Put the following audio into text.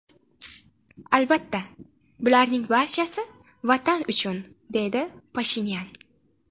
Albatta, bularning barchasi ‘vatan uchun’”, deydi Pashinyan.